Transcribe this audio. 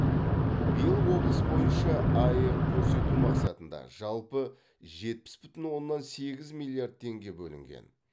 биыл облыс бойынша аәк көрсету мақсатында жалпы жетпіс бүтін оннан сегіз миллиард теңге бөлінген